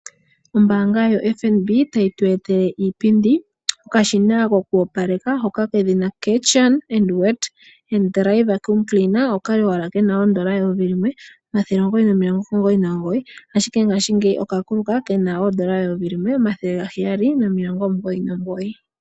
Ombanga yaFNB tayi tu etele iipindi. Okashina koku opaleka hoka kedhina Karcher Wet & Dry Vacuum Cleaner oka li owala kena oodollar eyovi limwe omathele omugoyi nomilongo omugoyi nomugoyi. Ashike ngashigeyi oka kuluka kena oodollar eyovi limwe omathele gaheyali nomilongo omugoyi nomugoyi.